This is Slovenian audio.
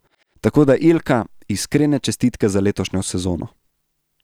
Tako da Ilka, iskrene čestitke za letošnjo sezono!